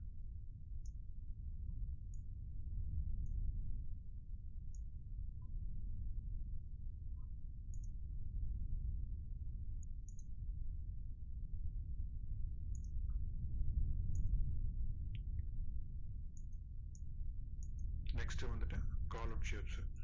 next வந்துட்டு column shapes சு